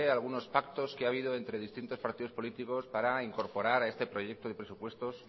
algunos pactos que ha habido entre distintos partidos políticos para incorporar a este proyecto de presupuestos